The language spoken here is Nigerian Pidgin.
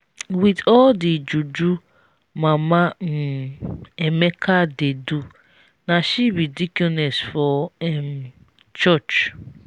with all the juju mama um emeka dey do na she be deaconess for um church